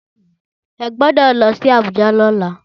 Ẹ gbọ́dọ̀ lọ sí Abuja lọ́la